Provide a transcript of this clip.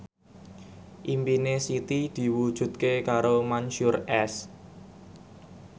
impine Siti diwujudke karo Mansyur S